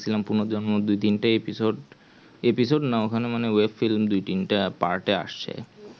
পুনর জন্ম পুনর জন্মৰ দুই তিন টা episode না ওখানে মানে episode দুই তিন টে part এ আসে